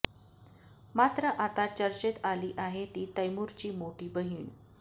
मात्र आता चर्चेत आली आहे ती तैमूरची मोठी बहीण